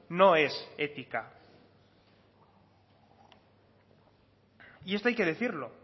no es ética y esto hay que decirlo